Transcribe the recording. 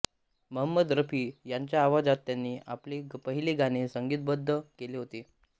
महंमद रफी यांच्या आवाजात त्यांनी आपले पहिले गाणे संगीतबद्ध केले होते